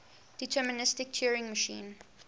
deterministic turing machine